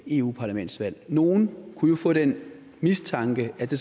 europaparlamentsvalg nogle kunne jo få den mistanke at det